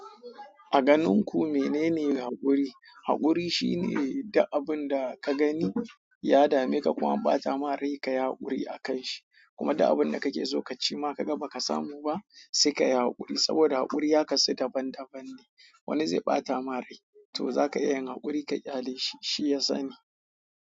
A ganin ku menene haƙuri? Haƙuri shine idan abun da ka gani ya dame ka kuma an ɓata ma rai ka yi haƙuri a kan shi. Kuma duk abunda kake so ka cinma kaga baka samu ba, se kayi hakuri saboda hakuri ya kasu daban-daban ne. Wani zai ɓata ma rai, to zaka iya yin haƙuri ka ƙyale shi shiya sani.